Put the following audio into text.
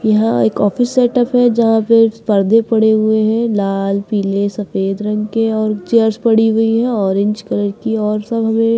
यहां एक office setup है जहां पे पर्दे पड़े हुए हैं लाल पीले सफेद रंग के और चेयर्स पड़ी हुई हैं ऑरेंज कलर की और सब हमें--